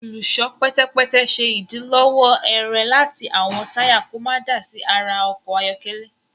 Olùṣọ pẹtẹpẹtẹ ṣe idilọwọ ẹrẹ láti awọn taya kò mọ dá sí àrà ọkọ ayọkẹlẹ